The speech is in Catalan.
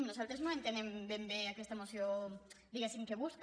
nosaltres no entenem ben bé aquesta moció diguéssim què busca